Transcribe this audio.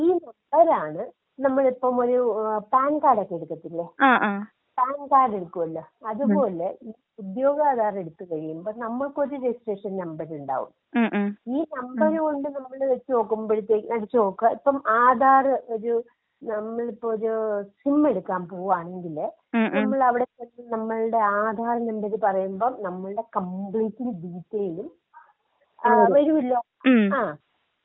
ഈ നമ്പറാണ് നമ്മളിപ്പം ഒരൂ ഏഹ് പാൻ കാർഡൊക്കെ എടുക്കത്തില്ലേ. Pan card എടുക്കുമല്ലൊ. അത് പോലെ ഉദ്യോഗാധാർ എടുത്ത് കഴിയുമ്പോ നമ്മൾക്കൊരു രെജിസ്ട്രേഷൻ നമ്പറുണ്ടാവും. ഈ നമ്പർ കൊണ്ട് നമ്മള് വെച്ച് നോക്കുമ്പഴത്തേക്ക് അടിച്ച് നോക്കാ, ഇപ്പം ആധാറ് ഒരൂ നമ്മളിപ്പൊ ഒരൂ സിം എടുക്കാൻ പോവാണെങ്കില്. നമ്മളിവിടെ ചെന്ന് നമ്മുടെ ആധാർ നമ്പര് പറയുമ്പൊ നമ്മളുടെ കമ്പ്ലീറ്റ് ഡീറ്റെയിലും വരും. ആ വരുമല്ലോ? ഉം.